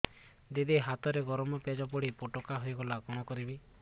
ଦିଦି ହାତରେ ଗରମ ପେଜ ପଡି ଫୋଟକା ହୋଇଗଲା କଣ କରିବି